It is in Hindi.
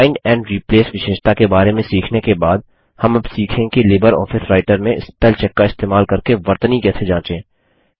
फाइंड एंड रिप्लेस विशेषता के बारे में सीखने के बाद हम अब सीखेंगे कि लिबरऑफिस राइटर में स्पेलचेक का इस्तेमाल करके वर्तनी कैसे जाँचे